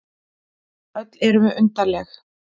Öll erum við undarleg.